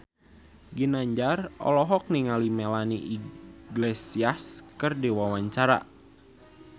Ginanjar olohok ningali Melanie Iglesias keur diwawancara